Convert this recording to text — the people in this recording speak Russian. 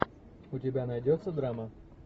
у тебя найдется драма